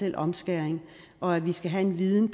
en omskæring og at vi skal have viden